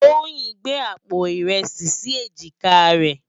Toyin n gbé ápó irèsi si éjiká rè